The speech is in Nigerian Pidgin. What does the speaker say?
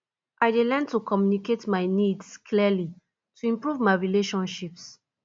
i dey learn to communicate my needs clearly to improve my relationships